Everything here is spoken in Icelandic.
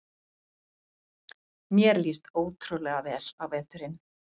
Mér líst ótrúlega vel á veturinn